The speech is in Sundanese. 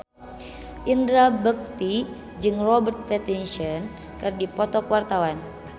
Indra Bekti jeung Robert Pattinson keur dipoto ku wartawan